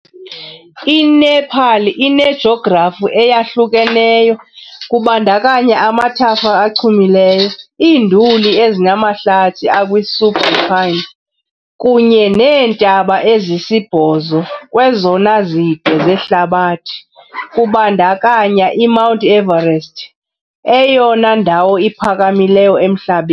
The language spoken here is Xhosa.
INepal inejografi eyahlukeneyo, kubandakanya amathafa achumileyo, iinduli ezinamahlathi akwi-subalpine, kunye neentaba ezisibhozo kwezona zide zehlabathi, kubandakanya iMount Everest, eyona ndawo iphakamileyo emhlabeni.